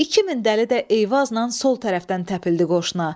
2000 dəli də Eyvazla sol tərəfdən təpildi qoşuna.